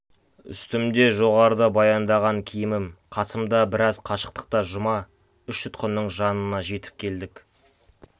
үстімде жоғарыда баяндаған киімім қасымда біраз қашықтықта жұма үш тұтқынның жанына жетіп келдік